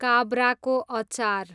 काब्राको अचार